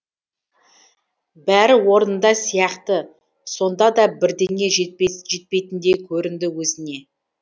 бәрі орнында сияқты сонда да бірдеңе жетпейтіндей көрінді өзіне